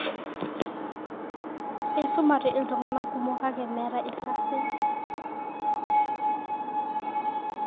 Eisumate iltung'anak kumok, kake meeta irkasin.